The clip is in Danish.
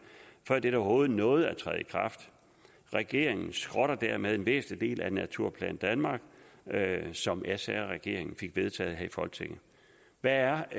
før det overhovedet nåede at træde i kraft regeringen skrotter dermed en væsentlig del af naturplan danmark som sr regeringen fik vedtaget her i folketinget hvad er